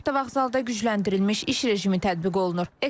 Avtovağzalda gücləndirilmiş iş rejimi tətbiq olunur.